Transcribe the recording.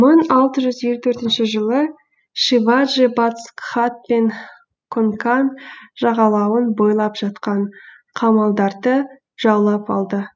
мың алты жүз елу төртінші жылы шиваджи батыс гхат пен конкан жағалауын бойлап жатқан қамалдарды жаулап алды